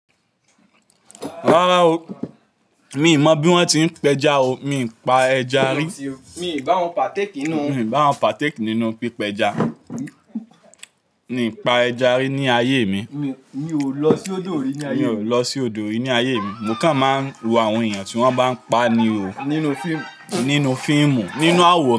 Rárá o, mi ò mọ̀ bí wọ́n ti ń pẹja o. Mi ò pa ẹja rí. Mi ò bá wọn pàtéèkì nínú pípẹja. Mi pa ẹja rí ní ayé mi. Mi ò lọ sí odò yìí ní ayé mi. Mo kàn máa ń wo àwọn èèyàn tí wọ́n bá ń pa ni o nínú fíìmù, nínú àwọ̀ran,